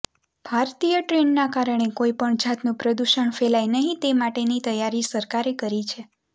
ભારતીય ટ્રેનના કારણે કોઈપણ જાતનું પ્રદુષણ ફેલાય નહીં તે માટેની તૈયારી સરકારે કરી છે